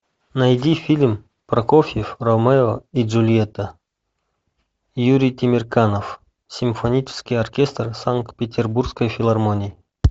найди фильм прокофьев ромео и джульетта юрий темирканов симфонический оркестр санкт петербургской филармонии